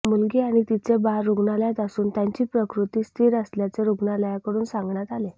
मुलगी आणि तिचे बाळ रुग्णालयात असून त्यांची प्रकृती स्थिर असल्याचे रुग्णालयाकडून सांगण्यात आले